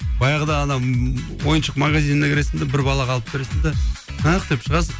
баяғыда анау ойыншық магазиніне кіресің де бір балаға алып бересің де ах деп шағасың